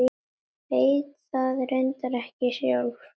Veit það reyndar ekki sjálf.